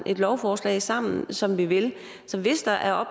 lovforslag sammen som vi vil hvis der er